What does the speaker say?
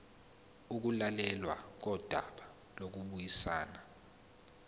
ukulalelwa kodaba lokubuyisana